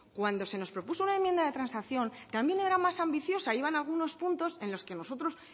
cuando se nos propuso una enmienda de transacción también era más ambiciosa iban algunos puntos en los que nosotros